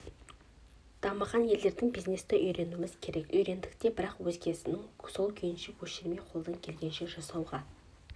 дамыған елдерден бизнесті үйренуіміз керек үйрендік те бірақ өзгенікін сол күйінше көшірмей қолдан келгенді жасауға